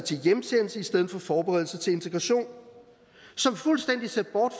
til hjemsendelse i stedet for forberedelse til integration som fuldstændig ser bort